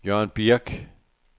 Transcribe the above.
Jørgen Birk